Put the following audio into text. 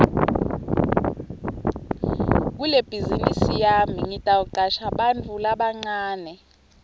kulebhazinisi yami ngitawucasha bantfu labancane